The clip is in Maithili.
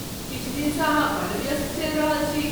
किछु दिनसँ अहाँ बड्ड व्यस्त चलि रहल छी।